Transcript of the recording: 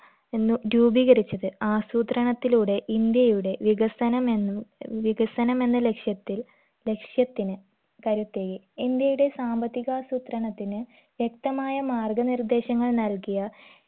എന്ന് രൂപീകരിച്ചത് ആസൂത്രണത്തിലൂടെ ഇന്ത്യയുടെ വികസനം എന്നും വികസനമെന്ന ലക്ഷ്യത്തിൽ ലക്ഷ്യത്തിന് കരുത്തേകി ഇന്ത്യയുടെ സാമ്പത്തികാസൂത്രണത്തിന് വ്യക്തമായ മാർഗ നിർദ്ദേശങ്ങൾ നൽകിയ